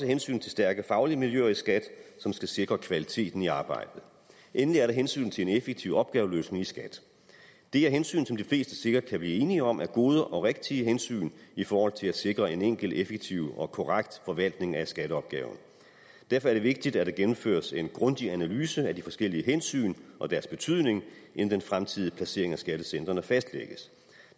hensyn til stærke faglige miljøer i skat som skal sikre kvaliteten i arbejdet endelig er der hensynet til en effektiv opgaveløsning i skat det er hensyn som de fleste sikkert kan blive enige om er gode og rigtige hensyn i forhold til at sikre en enkel effektiv og korrekt forvaltning af skatteopgaven derfor er det vigtigt at der gennemføres en grundig analyse af de forskellige hensyn og deres betydning inden den fremtidige placering af skattecentrene fastlægges